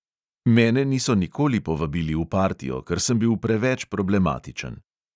Mene niso nikoli povabili v partijo, ker sem bil preveč problematičen.